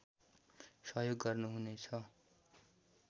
सहयोग गर्नुहुनेछ